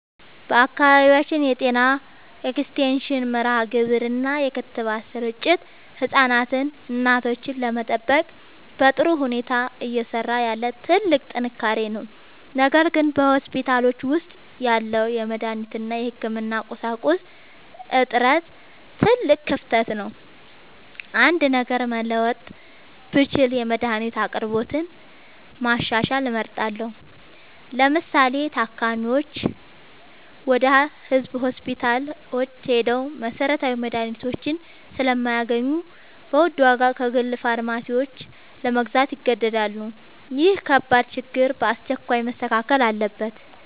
በአካባቢያችን የጤና ኤክስቴንሽን መርሃግብር እና የክትባት ስርጭት ህፃናትንና እናቶችን ለመጠበቅ በጥሩ ሁኔታ እየሰራ ያለ ትልቅ ጥንካሬ ነው። ነገር ግን በሆስፒታሎች ውስጥ ያለው የመድኃኒት እና የህክምና ቁሳቁስ እጥረት ትልቅ ክፍተት ነው። አንድ ነገር መለወጥ ብችል የመድኃኒት አቅርቦትን ማሻሻል እመርጣለሁ። ለምሳሌ፤ ታካሚዎች ወደ ህዝብ ሆስፒታሎች ሄደው መሰረታዊ መድኃኒቶችን ስለማያገኙ በውድ ዋጋ ከግል ፋርማሲዎች ለመግዛት ይገደዳሉ። ይህ ከባድ ችግር በአስቸኳይ መስተካከል አለበት።